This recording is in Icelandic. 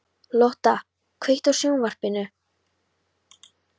Lotta, kveiktu á sjónvarpinu.